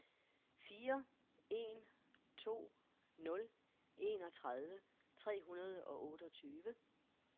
fire en to nul enogtredive tre hundrede og otteogtyve